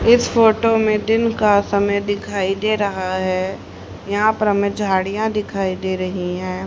इस फोटो में दिन का समय दिखाई दे रहा है यहां पर हमें झाड़ियां दिखाई दे रही हैं।